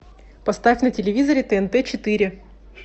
поставь на телевизоре тнт четыре